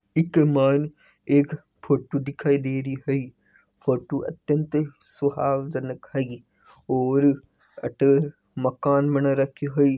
एक मायने एक फोटो दिखाय दे रही है फोटो अत्यत ही सुहाजंक है और अठे मकान बन राखो है।